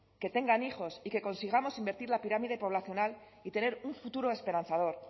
que tengan hijos y que consigamos invertir la pirámide poblacional y tener un futuro esperanzador